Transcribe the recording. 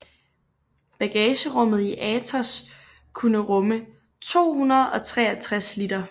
Bagagerummet i Atos kunne rumme 263 liter